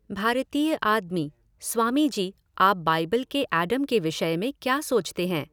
भारतीय आदमी स्वामी जी, आप बाइिबल के एडम के विषय में क्या सोचते हैं?